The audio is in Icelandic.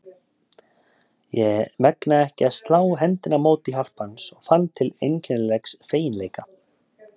Ég megnaði ekki að slá hendinni á móti hjálp hans og fann til einkennilegs feginleika.